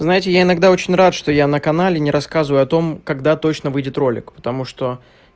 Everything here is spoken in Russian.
знаете я иногда очень рад что я на канале не рассказываю о том когда точно выйдет ролик потому что